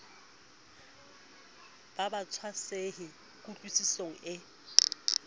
ba ba tshwasehe kutlwisisong e